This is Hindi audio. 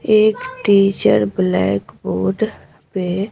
एक टीचर ब्लैक बोर्ड में--